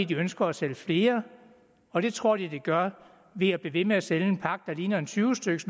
de ønsker at sælge flere og det tror de at de gør ved at blive ved med at sælge en pakke der ligner en tyve styks